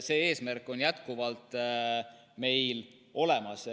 See eesmärk on meil jätkuvalt.